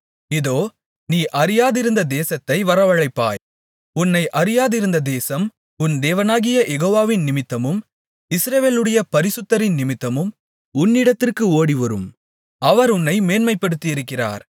இதோ நீ அறியாதிருந்த தேசத்தை வரவழைப்பாய் உன்னை அறியாதிருந்த தேசம் உன் தேவனாகிய யெகோவாவின் நிமித்தமும் இஸ்ரவேலுடைய பரிசுத்தரின் நிமித்தமும் உன்னிடத்திற்கு ஓடிவரும் அவர் உன்னை மேன்மைப்படுத்தியிருக்கிறார்